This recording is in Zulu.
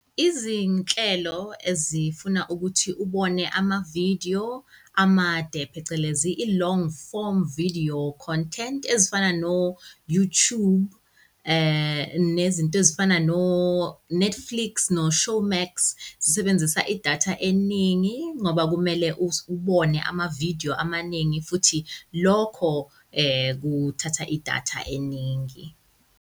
Izinhlelo ezifuna ukuthi ubone ama-video amade phecelezi i-long form video content ezifana no-Youtube, nezinto ezifana no-Netflix no-Showmax, zisebenzisa i-data eningi, ngoba kumele ubone ama-video amaningi, futhi lokho kuthatha i-data eningi.